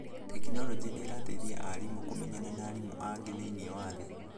tekinorojĩ nĩ irateithia arimũ kũmenyana na arimũ angĩ thĩinĩ wa thĩ.